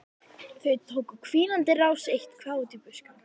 Þau tóku á hvínandi rás eitt- hvað út í buskann.